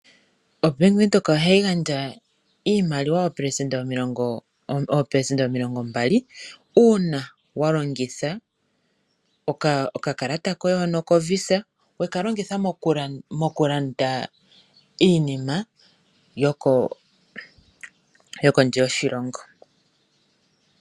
OBank Windhoek ohayi gandja iimaliwa oopelesenda omilongo mbali uuna wa longitha okakalata koye hono koVisa. Weka longitha mokulanda iinima yokondje yoshilongo.